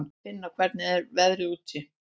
Finna, hvernig er veðrið úti?